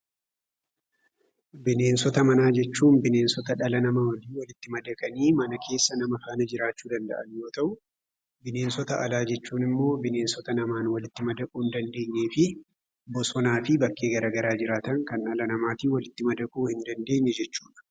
Bineensota manaa jechuun bineensota dhala namaa wajjin walitti madaqanii mana keessa nama faana jiraachuu danda'an yoo ta'u, bineensota alaa jechuun immoo bineensota namaan walitti madaquu hin dandeenyee fi bosonaa fi bakkee garaagaraa jiraatan kan dhala namaatiin walitti madaquu hin dandeenye jechuu dha.